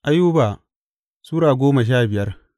Ayuba Sura goma sha biyar